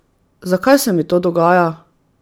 Zakaj se mi to dogaja?